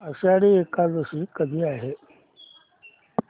आषाढी एकादशी कधी आहे